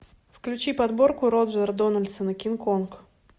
включи подборку роджера дональдсона кинг конг